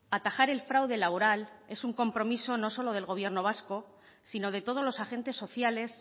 atajar el fraude laboral es un compromiso no solo del gobierno vasco sino de todos los agentes sociales